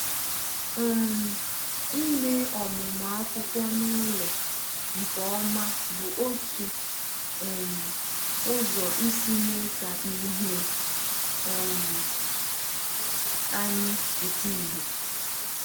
um Ime ọmụmụ akwụkwọ n’ụlọ nke ọma bụ otu um ụzọ isi mee ka ìhè um anyị pụta ìhè.